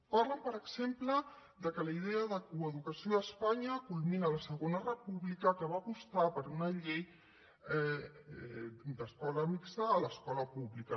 parlen per exemple que la idea de coeducació a espanya culmina a la segona república que va apostar per una llei d’escola mixta a l’escola pública